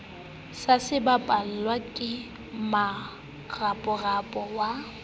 se sebapallwa ke moraparapa wa